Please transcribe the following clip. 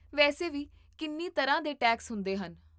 ਵੈਸੇ ਵੀ, ਕਿੰਨੀ ਤਰ੍ਹਾਂ ਦੇ ਟੈਕਸ ਹੁੰਦੇ ਹਨ?